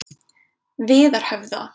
Viðarhöfða